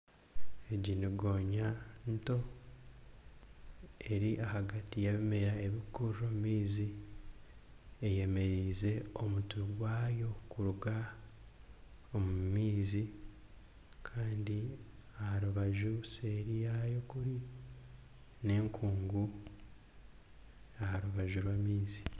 Egi ni ngooya nto eri ahagati y'ebimera ebirikukurira omu maizi eyemerize omutwe gwaayo kuruga omu maizi kandi aha rubaju seeri yaayo kuri n'ekungu aha rubaju rw'amaizi.